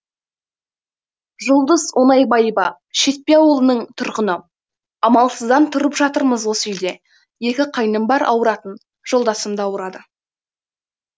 жұлдыз оңайбаева шетпе ауылының тұрғыны амалсыздан тұрып жатырмыз осы үйде екі қайным бар ауыратын жолдасым да ауырады